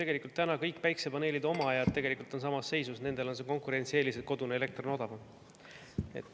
Tegelikult kõik päikesepaneelide omajad on praegu samas seisus, nendel on see konkurentsieelis, et kodune elekter on odavam.